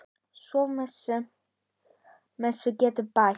Svo við messu getur bæst.